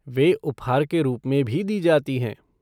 वे उपहार के रूप में भी दी जाती हैं।